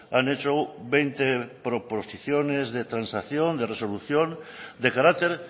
han hecho veinte proposiciones de transacción de resolución de carácter